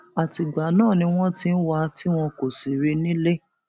àtìgbà náà ni wọn ti ń wá a tí wọn kò sì rí i nílé